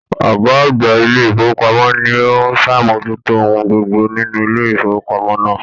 Ọgá àgbà ilé ifowopamọ ni o n sàmójútó ohun gbogbo nínú ilé ifowopamọ náà.